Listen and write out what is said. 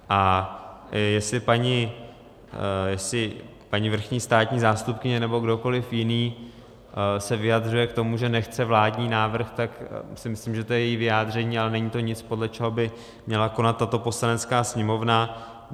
A jestli paní vrchní státní zástupkyně nebo kdokoliv jiný se vyjadřuje k tomu, že nechce vládní návrh, tak si myslím, že to je její vyjádření, ale není to nic, podle čeho by měla konat tato Poslanecká sněmovna.